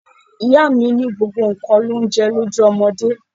Ìyá mi ní gbogbo nǹkan l'oúnje lójú ọmọdé.